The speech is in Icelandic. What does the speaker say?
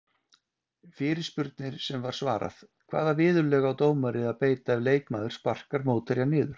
Fyrirspurnir sem var svarað: Hvaða viðurlög á dómari að beita ef leikmaður sparkar mótherja niður?